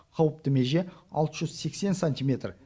қауіпті меже алты жүз сексен сантиметр